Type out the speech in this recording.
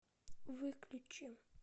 выключи